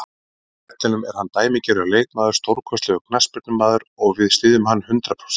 Á vellinum er hann dæmigerður leikmaður, stórkostlegur knattspyrnumaður og við styðjum hann hundrað prósent.